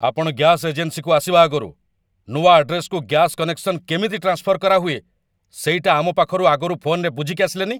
ଆପଣ ଗ୍ୟାସ୍ ଏଜେନ୍ସିକୁ ଆସିବା ଆଗରୁ ନୂଆ ଆଡ୍ରେସ୍‌କୁ ଗ୍ୟାସ୍ କନେକ୍ସନ କେମିତି ଟ୍ରାନ୍ସଫର କରାହୁଏ ସେଇଟା ଆମ ପାଖରୁ ଫୋନ୍‌ରେ ବୁଝିକି ଆସିଲେନି!